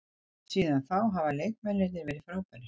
Síðan þá hafa leikmennirnir verið frábærir.